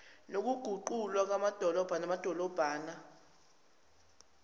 nokuguqula amadolobha namadolobhana